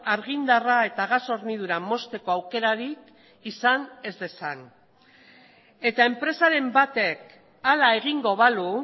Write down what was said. argindarra eta gas hornidura mozteko aukerarik izan ez dezan eta enpresaren batek hala egingo balu